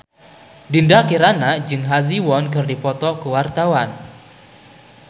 Dinda Kirana jeung Ha Ji Won keur dipoto ku wartawan